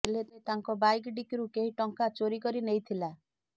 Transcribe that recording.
ହେଲେ ତାଙ୍କ ବାଇକ ଡିକିରୁ କେହି ଟଙ୍କା ଚୋରି କରି ନେଇଥିଲା